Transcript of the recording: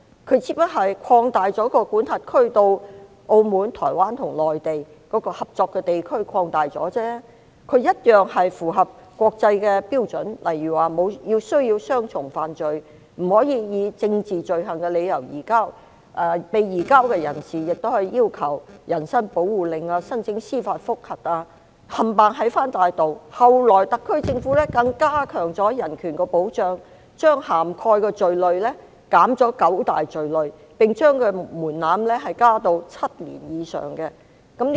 它只不過擴大管轄區至澳門、台灣和內地，擴大了合作的地區而已，一樣符合國際標準，例如需要雙重犯罪、不可以政治罪行的理由移交、被移交人士亦可要求人身保護令及申請司法覆核，全部齊備，後來特區政府更加強人權保障，將涵蓋的罪類減少九大罪類，並將門檻加至7年以上。